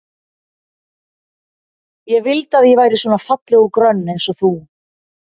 Ég vildi að ég væri svona falleg og grönn eins og þú.